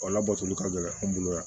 O labatoli ka gɛlɛn an bolo yan